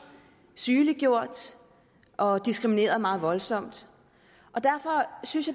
sygeliggjort og diskrimineret meget voldsomt og derfor synes